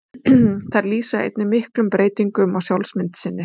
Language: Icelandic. Þær lýsa einnig miklum breytingum á sjálfsmynd sinni.